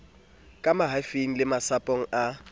ka mahafing le masapong a